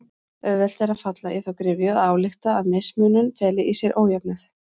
Auðvelt er að falla í þá gryfju að álykta að mismunur feli í sér ójöfnuð.